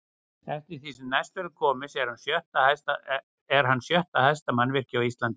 Eftir því sem næst verður komist er hann sjötta hæsta mannvirki á Íslandi.